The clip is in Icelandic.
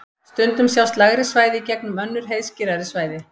Stundum sjást lægri svæði í gegnum önnur heiðskírari svæði.